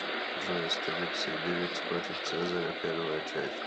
джой астерикс и обеликс против цезаря первая часть